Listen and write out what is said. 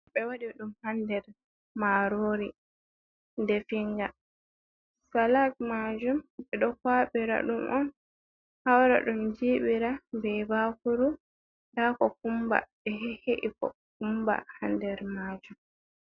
Ɓe waɗi ɗum haa nder maaroori defiinga, salag maajum, ɓe ɗo kuwaɓira ɗum on, hawra ɗum jiɓira be baakuru, ndaa kokumba, ɓe he'ehe’i kokumba haa nder maajum.